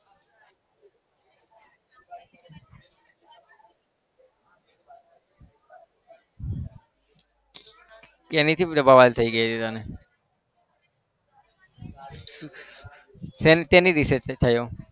એની શું બબાલ થઇ ગઈ હતી તને? શેની વિશેથી થયો?